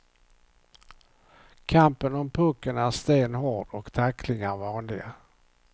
Kampen om pucken är stenhård och tacklingar vanliga.